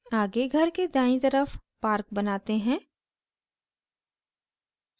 आगे घर के दायीं तरफ park बनाते हैं